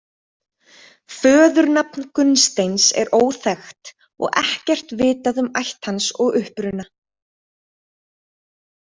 Föðurnafn Gunnsteins er óþekkt og ekkert vitað um ætt hans og uppruna.